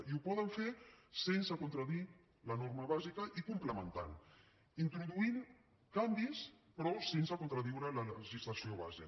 i ho poden fer sense contradir la norma bàsica i complementant introduint canvis però sense contradir la legislació base